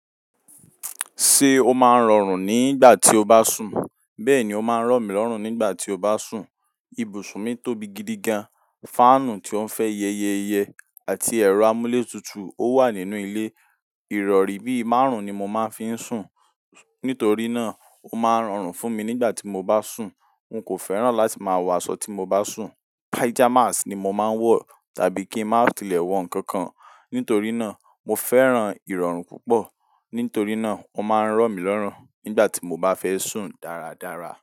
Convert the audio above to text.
Ṣé o máa ń rọrùn nígbà tí o bá sùn? Bẹ́ẹ̀ni, ó máa ń rọ̀ mí lọ́rùn nígbà tí o bá sùn. Ibùsùn mi tóbi gidi gan. Fáànù tó ń fẹ́ yẹyẹyẹ àti ẹ̀rọ amúlé tutù ó wà nínú ilé. Ìrọ̀rí bí i márùn-ún ni mo máa ń fi sùn, nítorí náà ó máa ń rọrùn fún mi nígbà tí mo bá sùn. N kò fẹ́ràn láti máa wọ aṣọ tí mo bá sùn. Pyjamas ni mo máa ń wọ tàbí kí n má tilẹ̀ wọ nǹkan kan, nítorí náà mo fẹ́ràn ìrọ̀rùn púpọ̀. Nítorí náà ó máa ń rọ mí lọ́rùn nígbà tí mo bá fẹ́ sùn dáradára.